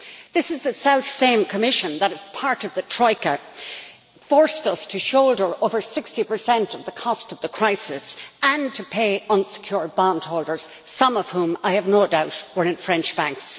This is the self same Commission that, as part of the Troika, forced us to shoulder over 60 of the cost of the crisis and to pay unsecured bondholders, some of whom, I have no doubt, were in French banks.